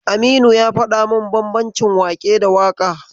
Aminu ya faɗa min bambancin waƙe da waƙa.